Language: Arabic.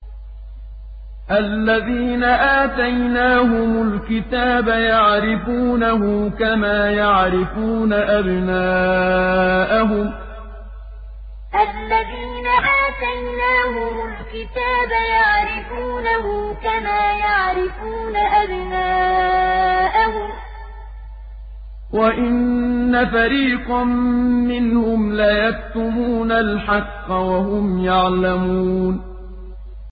الَّذِينَ آتَيْنَاهُمُ الْكِتَابَ يَعْرِفُونَهُ كَمَا يَعْرِفُونَ أَبْنَاءَهُمْ ۖ وَإِنَّ فَرِيقًا مِّنْهُمْ لَيَكْتُمُونَ الْحَقَّ وَهُمْ يَعْلَمُونَ الَّذِينَ آتَيْنَاهُمُ الْكِتَابَ يَعْرِفُونَهُ كَمَا يَعْرِفُونَ أَبْنَاءَهُمْ ۖ وَإِنَّ فَرِيقًا مِّنْهُمْ لَيَكْتُمُونَ الْحَقَّ وَهُمْ يَعْلَمُونَ